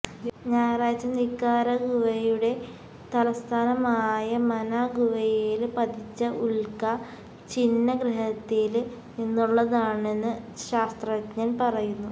ഞായറാഴ്ച നിക്കാരാഗുവയുടെ തലസ്ഥാനമായ മനാഗുവയില് പതിച്ച ഉല്ക്ക ഛിന്നഗ്രഹത്തില് നിന്നുള്ളതാണെന്ന് ശാസ്ത്രജ്ഞന് പറയുന്നു